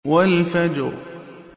وَالْفَجْرِ